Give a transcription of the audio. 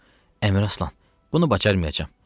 Yox, Əmir Aslan, bunu bacarmayacam.